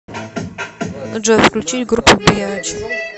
джой включить группу биатч